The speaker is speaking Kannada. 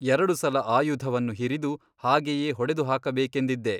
ಎರಡು ಸಲ ಆಯುಧವನ್ನು ಹಿರಿದು ಹಾಗೆಯೇ ಹೊಡೆದುಹಾಕಬೇಕೆಂದಿದ್ದೆ.